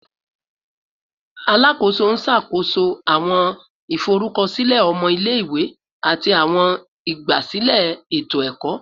Alakoso n ṣakoso awọn iforukọsilẹ ọmọ ile-iwe ati awọn igbasilẹ eto-ẹkọ